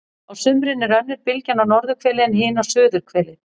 á sumrin er önnur bylgjan á norðurhveli en hin á suðurhveli